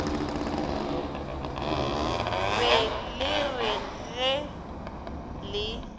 be le re ge le